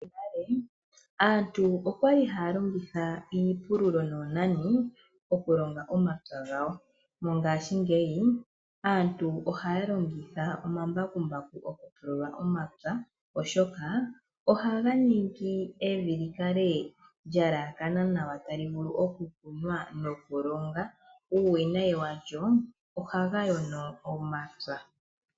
Monale, aantu okwali haalongitha iipululo noonani, okulonga omapya gawo. Mongashingeyi, aantu ohaalongitha omambakumbaku oku pulula omapya oshoka, ohaganingi evi likale lya elakana nawa talivulu oku kunwa nokulonga. Uuwinayi walyo, ohagayono omapya.